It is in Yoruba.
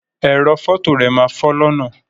Ẹrọ fọto rẹ máa fọ lọnà.